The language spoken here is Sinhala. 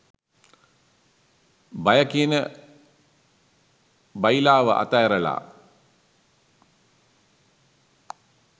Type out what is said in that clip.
බය කියන බයිලාව අත ඇරල